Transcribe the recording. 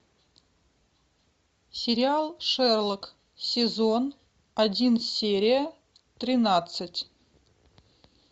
сериал шерлок сезон один серия тринадцать